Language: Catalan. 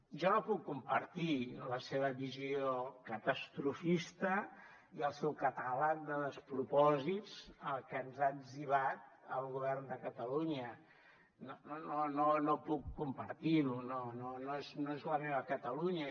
jo no puc compartir la seva visió catastrofista i el seu catàleg de despropòsits que ens ha etzibat al govern de catalunya no puc compartir ho no és no és la meva catalunya